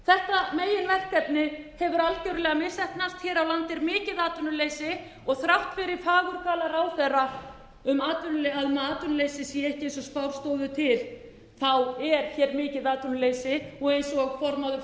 þetta meginverkefni hefur algjörlega misheppnast hér á landi er mikið atvinnuleysi og þrátt fyrir fagurgala ráðherra um að atvinnuleysið sé ekki eins og spár stóðu til er hér mikið atvinnuleysi og eins og formaður